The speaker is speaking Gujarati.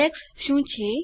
ઈન્ડેક્સ શું છે